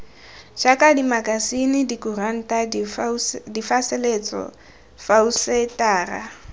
jaaka dimakasine dikuranta diphasalatso phousetara